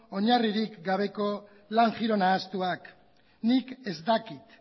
oinarririk gabeko lan giro nahastuaknik ez dakit